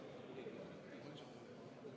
Vaheaeg on lõppenud.